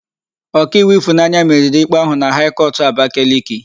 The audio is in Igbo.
Ọkaiwu Ịfụnanya meriri ikpe áhụ̀ na Haị kọtụ Abakaliki.